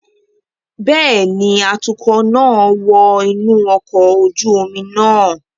Bẹẹni, atukọ naa wọ inu ọkọ oju omi naa